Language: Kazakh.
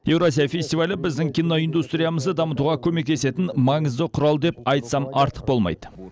еуразия фестивалі біздің киноиндустриямызды дамытуға көмектесетін маңызды құрал деп айтсам артық болмайды